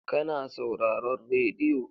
Ka na sauraron radiyo?